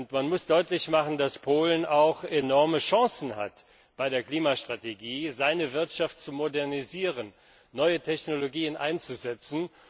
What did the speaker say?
Man muss deutlich machen, dass Polen auch enorme Chancen hat, bei der Klimastrategie seine Wirtschaft zu modernisieren und neue Technologien einzusetzen.